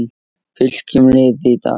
Fylkjum liði í dag